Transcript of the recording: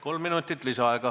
Kolm minutit lisaaega, palun!